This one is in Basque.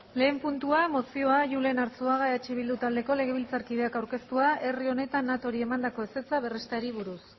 lehen puntua mozioa julen arzuaga gumuzio eh bildu taldeko legebiltzarkideak aurkeztua herri honek natori emandako ezetza berresteari buruz